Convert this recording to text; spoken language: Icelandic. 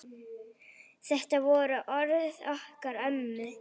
Þetta voru orðin okkar ömmu.